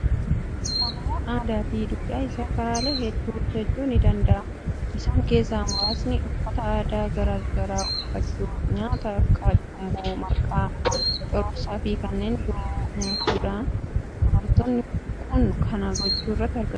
Oromoon aadaa fi duudhaa isaa karaalee hedduu ibsachuu ni danda'a. Isaan keessaa muraasni: uffata aadaa garaa garaa uffachuu, nyaata akka cumboo, marqaa, cororsaa fi kanneen biroo nyaachuunidha. Dubartoonni kun kana gochuu irratt argamu.